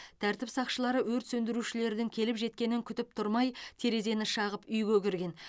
тәртіп сақшылары өрт сөндірушілердің келіп жеткенін күтіп тұрмай терезені шағып үйге кірген